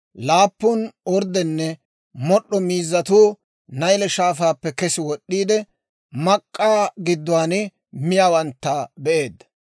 Laappun orddenne mod'd'o miizzatuu Nayle Shaafaappe kes wod'd'iide, mak'k'aa gidduwaan miyaawantta be'eedda.